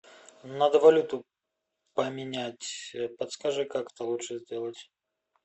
надо валюту поменять подскажи как это лучше сделать